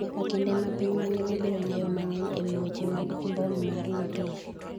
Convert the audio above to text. nyaka kinde ma piny mangima biro ng'eyo mang'eny ewi weche mag mbom mar nuklia